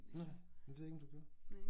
Nej men det ved jeg ikke om du gjorde